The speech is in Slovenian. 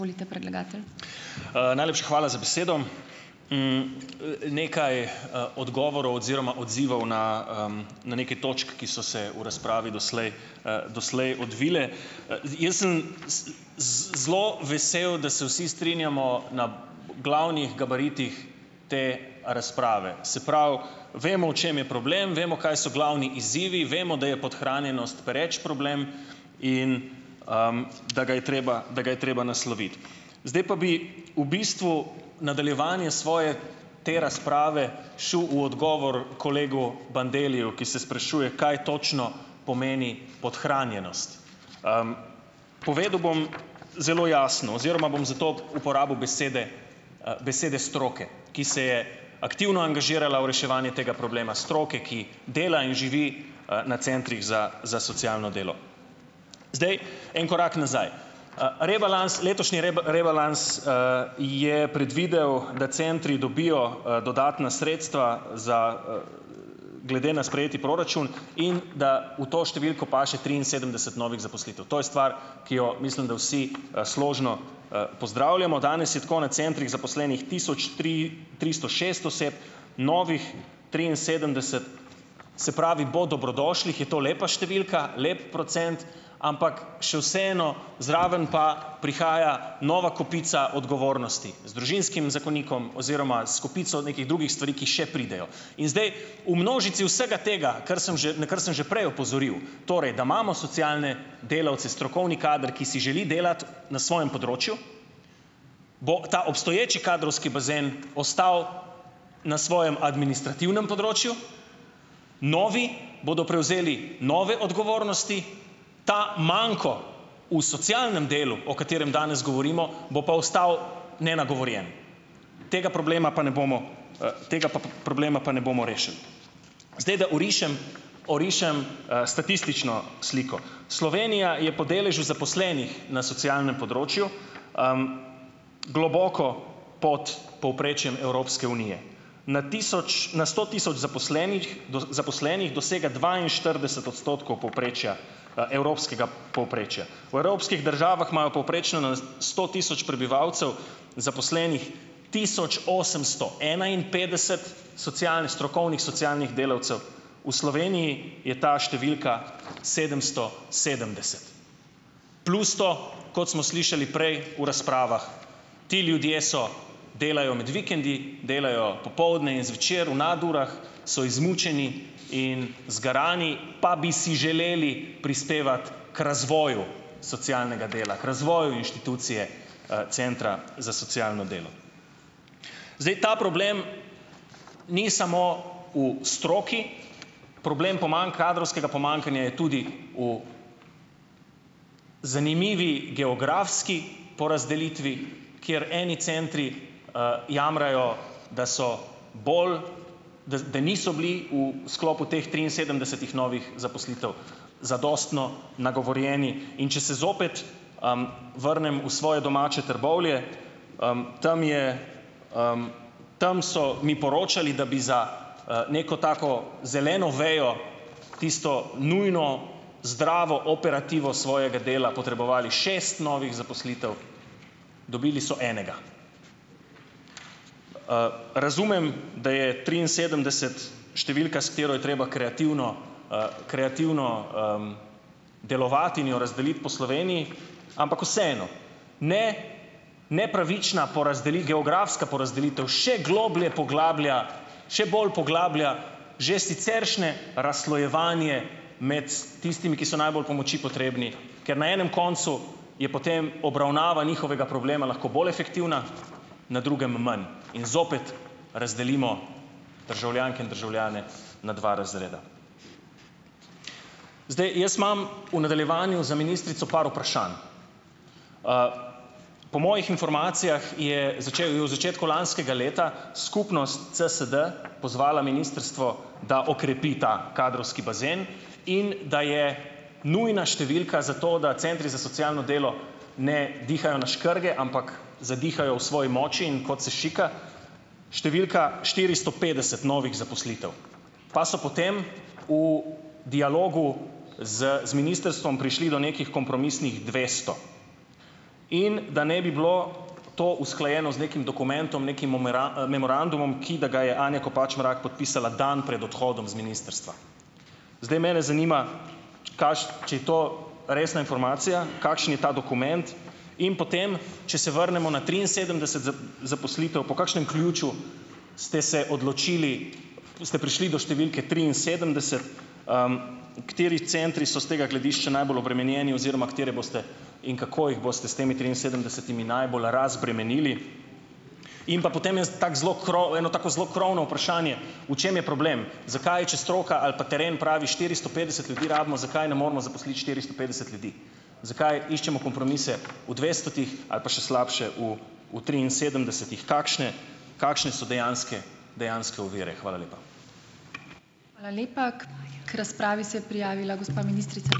Najlepša hvala za besedo. Nekaj odgovorov oziroma odzivov na na nekaj točk, ki so se v razpravi doslej, doslej odvile. jaz sem z zelo vesel, da se vsi strinjamo na glavnih gabaritih te razprave. Se pravi, vemo, o čem je problem, vemo, kaj so glavni izzivi, vemo, da je podhranjenost pereč problem in da ga je treba, da ga je treba nasloviti. Zdaj pa bi v bistvu nadaljevanje svoje te razprave šel v odgovor kolegu Bandelliju, ki se sprašuje, kaj točno pomeni podhranjenost. Povedal bom zelo jasno oziroma bom za to uporabil besede, besede stroke, ki se je aktivno angažirala v reševanje tega problema, stroke, ki dela in živi, na centrih za za socialno delo. Zdaj en korak nazaj. rebalans, letošnji rebalans je predvidel, da centri dobijo, dodatna sredstva glede na sprejeti proračun in da v to številko paše triinsedemdeset novih zaposlitev. To je stvar, ki jo mislim, da vsi, složno, pozdravljamo. Danes je tako na centrih zaposlenih tisoč tri tristo šest oseb, novih triinsedemdeset, se pravi, bo dobrodošlih, je to lepa številka, lep procent, ampak še vseeno zraven pa prihaja nova kopica odgovornosti z družinskim zakonikom oziroma s kopico nekih drugih stvari, ki še pridejo. In zdaj v množici vsega tega, kar sem že, na kar sem že prej opozoril, torej da imamo socialne delavce, strokovni kader, ki si želi delati na svojem področju, bo ta obstoječi kadrovski bazen ostal na svojem administrativnem področju, novi bodo prevzeli nove odgovornosti, ta manko v socialnem delu, o katerem danes govorimo, bo pa ostal nenagovorjen, tega problema pa ne bomo, tega problema pa ne bomo rešili. Zdaj, da orišem orišem, statistično sliko. Slovenija je po deležu zaposlenih na socialnem področju globoko pod povprečjem Evropske unije. Na tisoč, na sto tisoč zaposlenih zaposlenih, dosega dvainštirideset odstotkov povprečja, evropskega povprečja. V evropskih državah imajo povprečno na sto tisoč prebivalcev zaposlenih tisoč osemsto enainpetdeset socialnih strokovnih socialnih delavcev, V Sloveniji je ta številka sedemsto sedemdeset Plus to, kot smo slišali prej v razpravah, ti ljudje so, delajo med vikendi, delajo popoldne in zvečer v nadurah, so izmučeni in zgarani pa bi si želeli prispevati k razvoju socialnega dela, k razvoju inštitucije, centra za socialno delo. Zdaj ta problem ni samo v stroki, problem kadrovskega pomanjkanja je tudi v zanimivi geografski porazdelitvi, kjer eni centri, jamrajo, da so bolj, da niso bili v sklopu teh triinsedemdesetih novih zaposlitev zadostno nagovorjeni, in če se zopet vrnem v svoje domače Trbovlje. Tam so mi poročali, da bi za, neko tako zeleno vejo, tisto nujno zdravo operativo svojega dela potrebovali šest novih zaposlitev, dobili so enega. Razumem, da je triinsedemdeset številka, s katero je treba kreativno, kreativno, delovati in jo razdeliti po Sloveniji, ampak vseeno, ne nepravična geografska porazdelitev še globlje poglablja, še bolj poglablja že siceršnje razslojevanje med tistimi, ki so najbolj pomoči potrebni, ker na enem koncu je potem obravnava njihovega problema lahko bolj efektivna, na drugem manj in zopet razdelimo državljanke in državljane na dva razreda. Zdaj, jaz imam v nadaljevanju za ministrico par vprašanj. Po mojih informacijah, je v začetku lanskega leta skupnost CSD pozvala ministrstvo, da okrepi ta kadrovski bazen in da je nujna številka za to, da centri za socialno delo ne dihajo na škrge, ampak zadihajo v svoji moči, in kot se šika, številka štiristo petdeset novih zaposlitev. Pa so potem v dialogu z z ministrstvom prišli do nekih kompromisnih dvesto. In, da naj bi bilo to usklajeno z nekim dokumentom, nekim memorandumom, ki, da ga je Anja Kopač Mrak podpisala dan pred odhodom z ministrstva. Zdaj, mene zanima, če je to resna informacija? Kakšen je ta dokument? In potem, če se vrnemo na triinsedemdeset zaposlitev, po kakšnem ključu ste se odločili, ste prišli do številke triinsedemdeset? Kateri centri so s tega gledišča najbolj obremenjeni oziroma katere boste in kako jih boste s temi triinsedemdesetimi najbolj razbremenili? In pa potem tako zelo eno tako zelo krovno vprašanje, v čem je problem? Zakaj, če stroka ali pa teren pravi štiristo petdeset ljudi rabimo, zakaj ne moremo zaposliti štiristo petdeset ljudi? Zakaj iščemo kompromise dvestotih, ali pa še slabše u v triinsedemdesetih? Kakšne kakšne so dejanske, dejanske ovire? Hvala lepa.